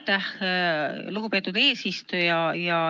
Aitäh, lugupeetud eesistuja!